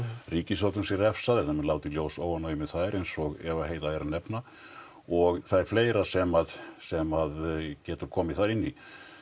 ríkisstjórnum sé refsað eða menn láti í ljós óánægju með þær eins og Eva Heiða er að nefna og það er fleira sem sem að getur komið þar inn í